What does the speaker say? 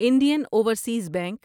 Indian Overseas bank